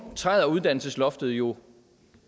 træder uddannelsesloftet jo